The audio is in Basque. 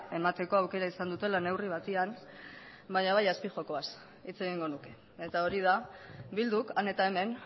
emateko aukera izan dutela neurri batean baina bai azpijokoz hitz egingo nuke eta hori da bilduk han eta hemen